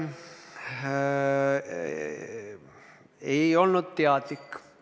Aga ei olnud teadlik võte.